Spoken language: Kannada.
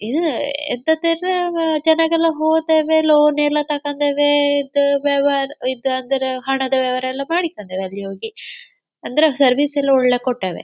ಇಲ್ಲಿ ಇದ್ದದ್ದೆಲ್ಲವ ಚೆನ್ನಗೆಲ್ಲ ಹೋದಾಗೆಲ್ಲವ ಲೋನ್ ಎಲ್ಲ ತಗಂದೇವೆ ಇದು ವ್ಯವ ಇದು ಅಂದರೆ ಹಣದ ವ್ಯವಹಾರ ಎಲ್ಲ ಮಾಡಿಕೊಂಡೇವೆ ಅಲ್ಲಿ ಹೋಗಿ ಅಂದರೆ ಸರ್ವಿಸ್ ಎಲ್ಲ ಒಳ್ಳೇ ಕೊಟ್ಟೆವೆ.